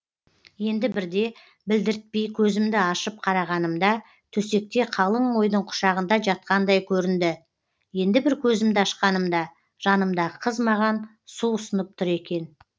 енді бірде білдіртпей көзімді ашып қарағанымда төсекте қалың ойдың құшағында жатқандай көрінді енді бір көзімді ашқанымда жанымдағы қыз маған су ұсынып тұр екен